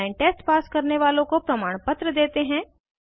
online test pass करने वालों को प्रमाणपत्र देते हैं